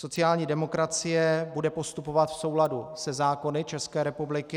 Sociální demokracie bude postupovat v souladu se zákony České republiky.